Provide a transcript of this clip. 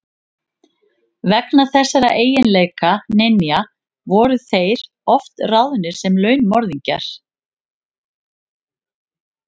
Vegna þessara eiginleika ninja voru þeir oft ráðnir sem launmorðingjar.